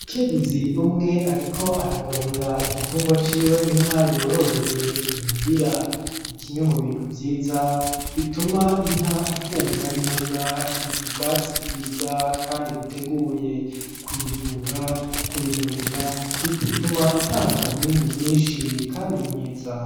Umukenyezi umwe ariko aragaburira igitungwa ciwe inka yororeye imuhira. Ni kimwe mu bintu vyiza bituma inka imfungura neza, ubwatsi bwiza, kandi buteguye. Kuyivura, kuyigaburira, bituma itanga umwimbu mwinshi kandi mwiza.